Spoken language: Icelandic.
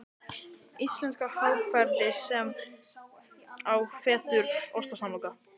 Íslenska hagkerfið seinna á fætur